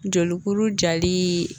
Jolikuru jali